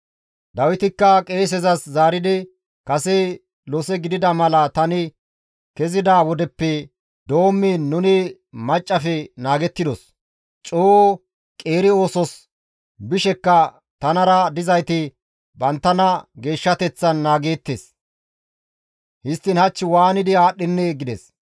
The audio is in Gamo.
Dawitikka qeesezas zaaridi, «Kase lose gidida mala tani kezida wodeppe doommiin nuni maccassafe naagettidos; coo qeeri oosos bishekka tanara dizayti banttana geeshshateththan naageettes. Histtiin hach waanidi aadhdhennee!» gides.